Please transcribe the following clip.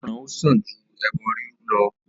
Ìgbọ́ran ó sàn ju ẹbọ rírú lọ.